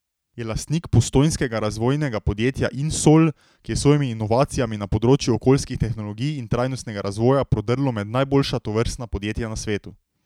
Je lastnik postojnskega razvojnega podjetja Insol, ki je s svojimi inovacijami na področju okoljskih tehnologij in trajnostnega razvoja prodrlo med najboljša tovrstna podjetja na svetu.